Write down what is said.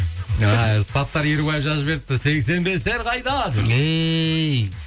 саттар ерубаев жазып жіберіпті сексен бестер қайда деп эй